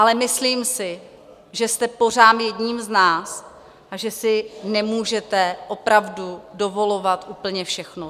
Ale myslím si, že jste pořád jedním z nás a že si nemůžete opravdu dovolovat úplně všechno.